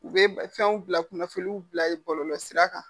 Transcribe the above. U be fɛnw bila kunnafoniw bila yen bɔlɔlɔ sira kan.